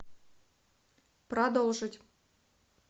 продолжить